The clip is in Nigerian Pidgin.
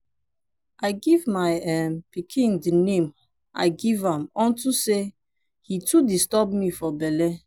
i give my um pikin the name i give am unto say he too disturb me for bele.